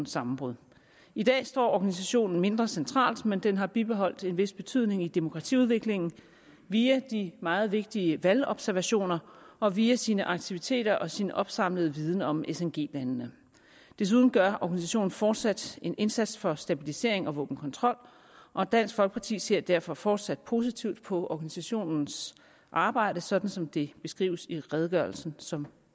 sammenbrud i dag står organisationen mindre centralt men den har bibeholdt en vis betydning i demokratiudviklingen via de meget vigtige valgobservationer og via sine aktiviteter og sin opsamlede viden om sng landene desuden gør organisationen fortsat en indsats for stabilisering og våbenkontrol og dansk folkeparti ser derfor fortsat positivt på organisationens arbejde sådan som det beskrives i redegørelsen som